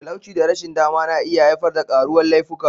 Talauci da rashin dama na iya haifar da karuwar laifuka.